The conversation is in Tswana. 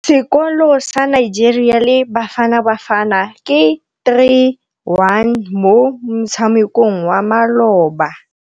Sekôrô sa Nigeria le Bafanabafana ke 3-1 mo motshamekong wa malôba.